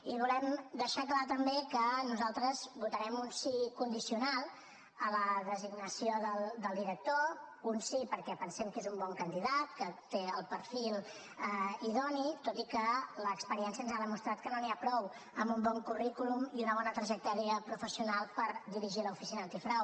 i volem deixar clar també que nosaltres votarem un sí condicional a la designació del director un sí perquè pensem que és un bon candidat que té el perfil idoni tot i que l’experiència ens ha demostrat que no n’hi ha prou amb un bon currículum i una bona trajectòria professional per dirigir l’oficina antifrau